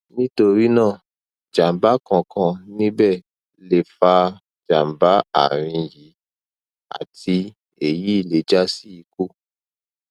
nitorina jamba kan kan nibe le fa jamba arin yi ati eyi le jasi iku